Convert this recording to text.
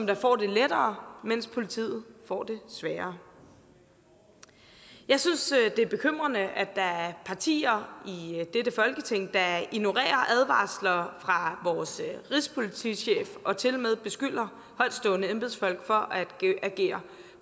der får det lettere mens politiet får det sværere jeg synes det er bekymrende at der er partier i dette folketing der ignorerer advarsler fra vores rigspolitichef og tilmed beskylder højtstående embedsmænd for at agere